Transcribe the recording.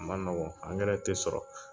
A ma nɔgɔn ti sɔrɔ.